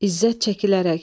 İzzət çəkilərək.